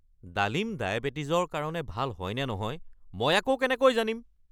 ডালিম ডায়েবেটিছৰ কাৰণে ভাল হয়নে নহয় মই আকৌ কেনেকৈ জানিম?